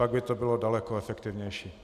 Pak by to bylo daleko efektivnější.